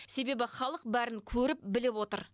себебі халық бәрін көріп біліп отыр